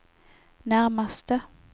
närmaste